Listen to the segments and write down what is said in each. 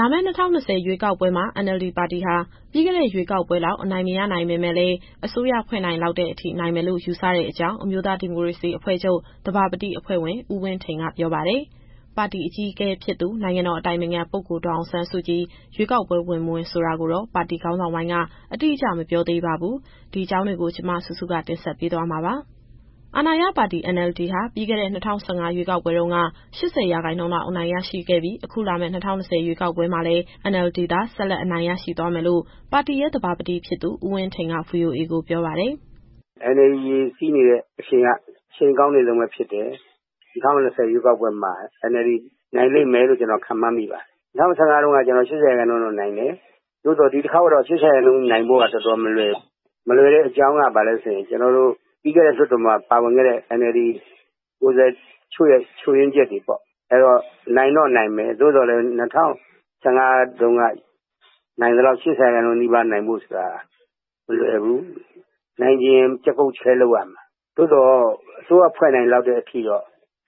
လာမယ့် ၂၀၂၀ ရွေးကောက်ပွဲမှာ NLD ပါတီဟာ ပြီးခဲ့တဲ့ရွေးကောက်ပွဲလောက် အနိုင်မရနိုင်ပေမဲ့လည်း အစိုးရဖွဲ့နိုင်လောက်တဲ့အထိ နိုင်မယ်လို့ ယူဆတဲ့အကြောင်း အမျိုးသားဒီမိုကရေစီအဖွဲ့ချုပ် သဘာပတိအဖွဲ့ဝင် ဦးဝင်းထိန်ကပြောပါတယ်။ ပါတီအကြီးအကဲဖြစ်သူ နိုင်ငံတော်အတိုင်ပင်ခံပုဂ္ဂိုလ် ဒေါ်အောင်ဆန်းစုကြည် ရွေးကောက်ပွဲဝင်၊ မဝင်ဆိုတာကိုတော့ ပါတီခေါင်းဆောင်ပိုင်းက အတိအကျ မပြောသေးပါဘူး။ ဒီအကြောင်းတွေ ဗွီအိုအေမြန်မာပိုင်း သတင်းထောက်စုစုက မေးမြန်းထားပါတယ်။ အာဏာရပါတီ NLD ဟာ ပြီးခဲ့တဲ့ ၂၀၁၅ ရွေးကောက်ပွဲတုန်းက ၈၀ ရာခိုင်နှုန်းလောက် အနိုင်ရရှိခဲ့ပြီး အခုလာမယ့် ၂၀၂၀ ရွေးကောက်ပွဲမှာလည်း NLD သာ ဆက်လက်နိုင်သွားမယ်လို့ ပါတီရဲ့သဘာပတိဖြစ်သူ ဦးဝင်းထိန်က VOA ကိုပြောပါတယ်။ “NLD ရေစီးနေတဲ့အရှိန်က အရှိန်ကောင်းနေတုန်းပဲဖြစ်တယ်။ ၂၀၂၀ ရွေးကောက်ပွဲမှာ NLD နိုင်လိမ့်မယ်လို့ ကျနော်ခန့်မှန်းမိပါတယ်။ ၂၀၁၅ တုန်းကတော့ ၈၀ ရာခိုင်နှုန်းလောက်နိုင်တယ်။ သို့သော် ဒီတခေါက်မှာ ၈၀ ရာခိုင်နှုန်းနိုင်ဖို့လောက်ကတော့ တော်တော်မလွယ်ဘူး။ မလွယ်တဲ့အကြောင်းက ပြီးခဲ့တဲ့လွှတ်တော်မှာ ပါဝင်ခဲ့တဲ့ NLD ကိုယ်စားလှယ်တချို့ရဲ့ ချို့ယွင်းချက်တွေပေါ့။ အဲတော့ နိုင်တော့နိုင်မယ်။ ၂၀၁၅ တုန်းကလို ၈၀ ရာခိုင်နှုန်းနိုင်ချင်ရင် ကျားကုတ်ကျားခဲလုပ်ရမယ်။ သို့သော် အစိုးရဖွဲ့နိုင်လောက်တဲ့အထိတော့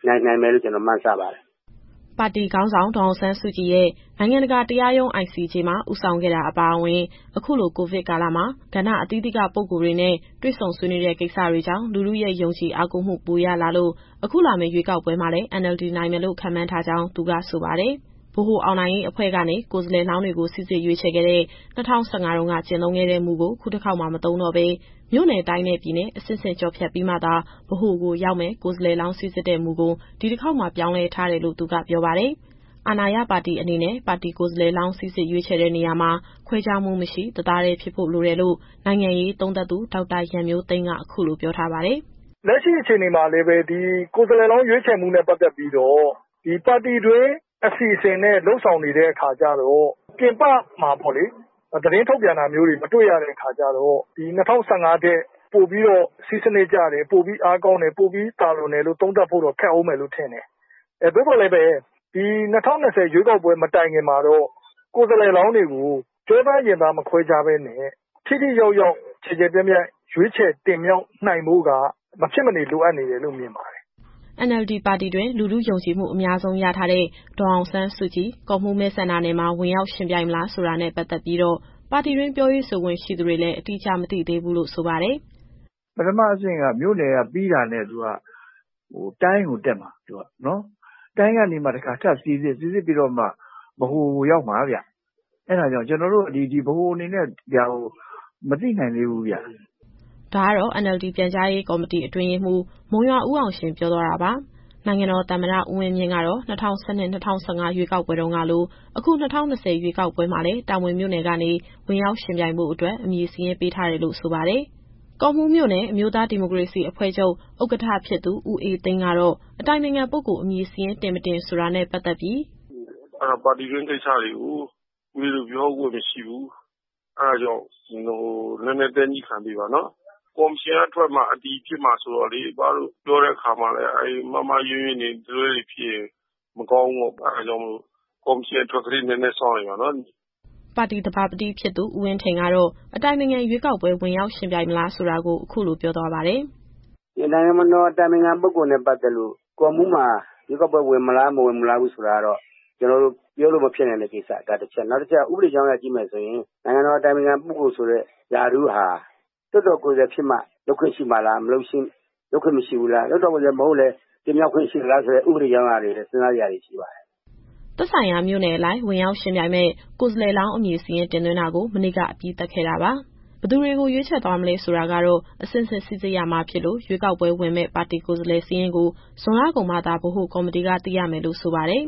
နိုင်နိုင်မယ်လို့ ကျနော်မှန်းဆပါတယ်။” ပါတီခေါင်းဆောင် ဒေါ်အောင်ဆန်းစုကြည်ရဲ့ နိုင်ငံတကာတရားရုံး ICJ မှာ ဦးဆောင်ခဲ့တာအပါအဝင် အခုလို ကိုဗစ်ကာလမှာ ကဏ္ဍအသီးသီးကပုဂ္ဂိုလ်တွေနဲ့ တွေ့ဆုံဆွေးနွေးတဲ့ကိစ္စတွေကြောင့် လူထုရဲ့ယုံကြည်အားကိုးမှု ပိုရလာလို့ အခုလာမယ့်ရွေးကောက်ပွဲမှာလည်း NLD နိုင်မယ်လို့ ခန့်မှန်းထားကြောင်း သူကဆိုပါတယ်။ ဗဟိုအောင်နိုင်ရေးအဖွဲ့ကနေ ကိုယ်စားလှယ်လောင်းတွေကို စိစစ်ရွေးချယ်ခဲ့တဲ့ ၂၀၁၅ တုန်းက ကျင့်သုံးခဲ့တဲ့မူကို ခုတခေါက်မှာ မသုံးတော့ဘဲ မြို့နယ်၊ တိုင်းနဲ့ ပြည်နယ် အဆင့်ဆင့်ဖြတ်ကျော်ပြီးမှသာ ဗဟိုကိုရောက်မယ့် ကိုယ်စားလှယ်လောင်း စိစစ်တဲ့မူကို ဒီတခေါက်မှာ ပြောင်းလဲထားတယ်လို့သူက ပြောပါတယ်။ အာဏာရပါတီအနေနဲ့ ပါတီကိုယ်စားလှယ်လောင်း စိစစ်ရွေးချယ်တဲ့နေရာမှာ ခွဲခြားမှုမရှိ တသားတည်းဖြစ်ဖို့လိုတယ်လို့ နိုင်ငံရေးသုံးသပ်သူ ဒေါက်တာရန်မျိုးသိန်းက အခုလိုပြောထားပါတယ်။ “လက်ရှိအချိန်မှာ ဒီကိုယ်စားလှယ်လောင်းရွေးချယ်မှုနဲ့ ပတ်သက်ပြီးတော့ ပါတီတွင်းအစီအစဉ်နဲ့ လုပ်ဆောင်နေတဲ့အခါကျတော့ ပြင်ပမှာပေါ့လေ သတင်းထုတ်ပြန်တာမျိုးတွေ မတွေ့ရတဲ့အခါကျတော့ ၂၀၁၅ ထက် ပိုပြီးတော့ စည်းစနစ်ကျတယ် ပိုအားကောင်း ပိုသာလွန်တယ်လို့ သုံးသပ်ဖို့တော့ခက်ဦးမယ်။ သို့သော်လည်းပဲ ဒီ ၂၀၂၀ ရွေးကောက်ပွဲမတိုင်ခင်မှာတော့ ကိုယ်စားလှယ်လောင်းတွေကို ကျောသားရင်သား မခွဲခြားဘဲနဲ့ ထိထိရောက်ရောက် ကျယ်ကျယ်ပြန့်ပြန့် ရွေးချယ်တင်မြှောက်နိုင်ဖို့က မဖြစ်မနေ လိုအပ်နေတယ်လို့ မြင်ပါတယ်။” NLD ပါတီတွင်း လူထုယုံကြည်မှု အများဆုံးရထားတဲ့ ဒေါ်အောင်ဆန်းစုကြည် ကော့မှူးမဲဆန္ဒနယ်မှာ ဝင်ရောက်ယှဉ်ပြိုင်မလားဆိုတာနဲ့ ပတ်သက်ပြီးတော့ ပါတီတွင်းပြောရေးဆိုခွင့်ရှိသူတွေလည်း အတိအကျ မသိသေးဘူးလို့ ဆိုပါတယ်။ “ပထမအဆင့်က မြို့နယ်ကပြီးတာနဲ့ တိုင်းကိုတက်မှာ။ တိုင်းကနေ တခါထပ်စိစစ်ပြီးမှ ဗဟိုကိုရောက်မှာဗျ။ အဲဒါကြောင့် ကျနော်တို့ ဗဟိုအနေနဲ့ ဒီဟာကို မသိနိုင်သေးဘူးဗျ။” ဒါကတော့ NLD ပြန်ကြားရေးကော်မတီ အတွင်းရေးမှူး မုံရွာဦးအောင်ရှင် ပြောသွားတာပါ။ နိုင်ငံတော်သမ္မတ ဦးဝင်းမြင့်ကတော့ ၂၀၁၂၊ ၂၀၁၅ ရွေးကောက်ပွဲတုန်းကလို အခု ၂၀၂၀ ရွေးကောက်ပွဲမှာလည်း တာမွေမြို့နယ်ကနေ ဝင်ရောက်ယှဉ်ပြိုင်ဖို့အတွက် အမည်စာရင်းပေးထားတယ်လို့ ဆိုပါတယ်။ ကော့မှူးမြို့နယ် အမျိုးုသားဒီမိုကရေစီ အဖွဲ့ချုပ်ဥက္ကဋ္ဌ ဖြစ်သူ ဦးအေးသိန်းကတော့ အတိုင်ပင်ခံပုဂ္ဂိုလ် အမည်စာရင်းတင် မတင်ဆိုတာနဲ့ ပတ်သက်ပြီး.... “ပါတီတွင်း ကိစ္စတွေကို ဦးလေးတို့ပြောခွင့်မရှိဘူး။ အဲဒါကြောင့် နည်းနည်းညည်းခံပေးပါနော်။ ကော်မရှင်က ထွက်မှ အတည်ဖြစ်မှာဆိုတော့လေ အဘတို့ပြောတဲ့အခါမှာလည်း အမှားမှားအယွင်းယွင်း တလွဲတွေဖြစ်ရင် မကောင်းဘူးပေါ့။ အဲဒါကြောင့်မို့လို့ ကော်မရှင်အထွက်ကလေး နည်းနည်းစောင့်လိုက်ပါနော်။” ပါတီသဘာပတိဖြစ်သူ ဦးဝင်းထိန်ကတော့ အတိုင်ပင်ခံရွေးကောက်ပွဲ ဝင်ရောက်ယှဉ်ပြိုင်မလားဆိုတာကို အခုလိုပြောသွားပါတယ်။ “နိုင်ငံတော်အတိုင်ပင်ခံပုဂ္ဂိုလ်နဲ့ ပတ်သက်လို့ ကော့မှူးမှာရွေးကောက်ပွဲဝင် မဝင်ဆိုတာကတော့ ကျနော်တို့ပြောလို့မဖြစ်နိုင်တဲ့ ကိစ္စ ဒါတချက်။ နောက်တချက်က ဥပဒေကြောင်းအရ ကြည့်မယ်ဆိုရင် နိုင်ငံတော်အတိုင်ပင်ခံပုဂ္ဂိုလ်ဆိုတဲ့ ရာထူးဟာ လွှတ်တော်ကိုယ်စားလှယ်ဖြစ်မှ လုပ်ခွင့်ရှိမှာလား။ လွှတ်တော်ကိုယ်စားလှယ် မဟုတ်လည်း တင်မြှောက်ခွင့် ရှိသလားဆိုတဲ့ ဥပဒေအကြောင်းအရာတွေလည်း စဉ်းစားစရာရှိပါတယ်။” သက်ဆိုင်ရာမြို့နယ်အလိုက် ဝင်ရောက်ယှဉ်ပြိုင်မယ့် ကိုယ်စားလှယ်လောင်း အမည်စာရင်းတင်သွင်းတာကို မနေ့က အပြီးသတ်ခဲ့တာပါ။ ဘယ်သူတွေကို ရွေးချယ်သွားမလဲဆိုတာကတော့ အဆင့်ဆင့်စိစစ်ရမှာဖြစ်လို့ ရွေးကောက်ပွဲဝင်မယ့် ပါတီကိုယ်စားလှယ်စာရင်းကို ဇွန်လကုန်မှသာ ဗဟိုကော်မတီက သိရမယ်လို့ ဆိုပါတယ်။